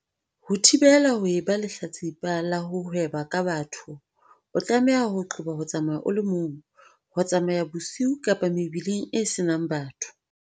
Ho thibela ho eba lehlatsi pa la ho hweba ka batho o tlameha ho qoba ho tsamaya o le mong, ho tsamaya bosiu kapa mebileng e senang batho.